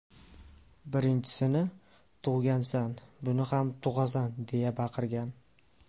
Birinchisini tug‘gansan, buni ham tug‘asan”, deya baqirgan.